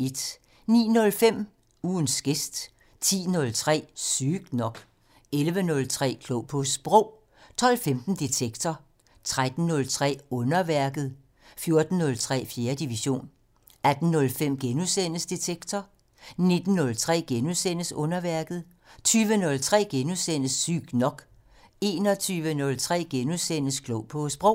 09:05: Ugens gæst 10:03: Sygt nok 11:03: Klog på Sprog 12:15: Detektor 13:03: Underværket 14:03: 4. division 18:05: Detektor * 19:03: Underværket * 20:03: Sygt nok * 21:03: Klog på Sprog *